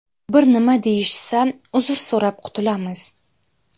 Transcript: Bir nima deyishsa, uzr so‘rab qutulamiz.